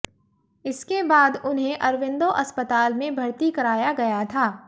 इसके बाद उन्हें अरविंदो अस्पताल में भर्ती कराया गया था